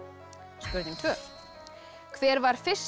spurning tvö hver var fyrsta